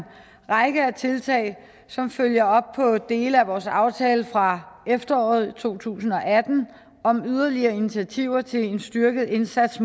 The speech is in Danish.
række af tiltag som følger op på dele af vores aftale fra efteråret to tusind og atten om yderligere initiativer til en styrket indsats